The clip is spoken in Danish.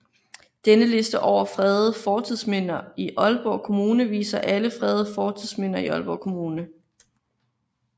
Denne liste over fredede fortidsminder i Aalborg Kommune viser alle fredede fortidsminder i Aalborg Kommune